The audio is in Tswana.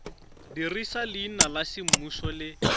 dirisa leina la semmuso le